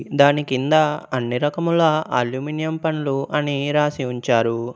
దానికింద అన్ని రకముల అల్యూమినియం పన్లు అని రాసి ఉంచారు.